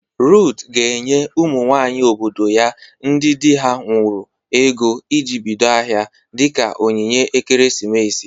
Ruth ga-enye ụmụ nwaanyị obodo ya ndị dị ha nwuru ego iji bido ahịa. dịka onyinye ekeresimesi.